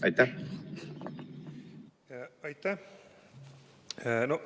Aitäh!